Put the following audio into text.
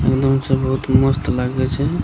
इनहो छै बहुत मस्त लगै छै ।